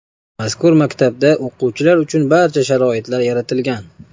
Mazkur maktabda o‘quvchilar uchun barcha sharoitlar yaratilgan.